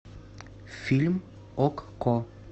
фильм окко